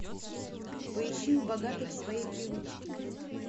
поищи у богатых свои привычки